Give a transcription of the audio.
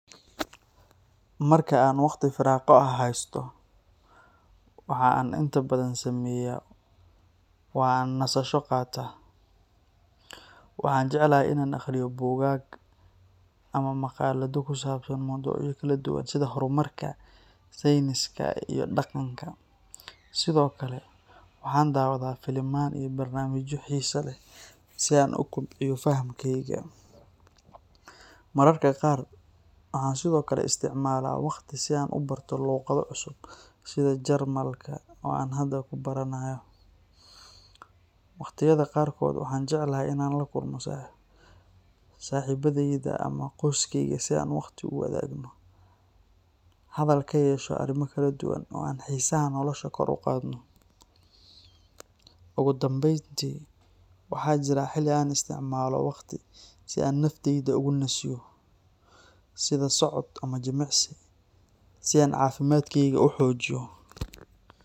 Marka aan waqti firaaqo ah haysto, waxa aan inta badan sameeyaa waa in aan nasasho qaato. Waxaan jeclahay in aan akhriyo buugaag ama maqaalado ku saabsan mowduucyo kala duwan sida horumarka, sayniska, iyo dhaqanka. Sidoo kale, waxaan daawadaa filimaan iyo barnaamijyo xiiso leh si aan u kobciyo fahamkayga. Mararka qaar, waxaan sidoo kale isticmaalaa waqti si aan u barto luuqado cusub, sida Jarmalka oo aan hadda ku baranayo. Waqtiyada qaarkood, waxaan jeclahay in aan la kulmo saaxiibadeyda ama qoyskeyga si aan waqtiga u wadaagno, hadal ka yeesho arrimo kala duwan, oo aan xiisaha nolosha kor u qaadno. Ugu dambeyntii, waxaa jira xilli aan isticmaalo waqti si aan naftayda ugu nasiyo, sida socod ama jimicsi, si aan caafimaadkeyga u xoojiyo.